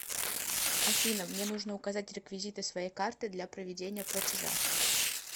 афина мне нужно указать реквизиты своей карты для проведения платежа